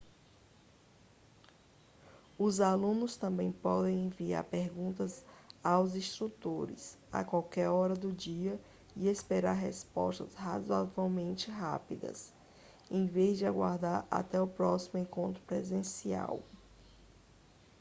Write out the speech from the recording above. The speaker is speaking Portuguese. os alunos também podem enviar perguntas aos instrutores a qualquer hora do dia e esperar respostas razoavelmente rápidas em vez de aguardar até o próximo encontro presencial